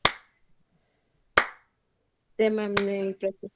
તેમેને અમને